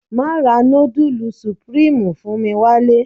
Má ra nudulu supirimu fún mi wálé.